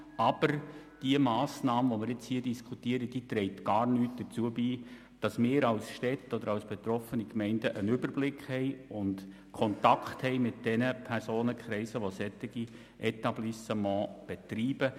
Aber die Massnahme, die wir hier diskutieren, trägt gar nichts dazu bei, dass wir als Städte oder als betroffene Gemeinden einen Überblick und Kontakt mit den Personen haben, die solche Etablissements betreiben.